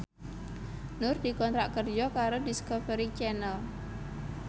Nur dikontrak kerja karo Discovery Channel